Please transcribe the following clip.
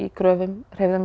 gröfum hreyfðum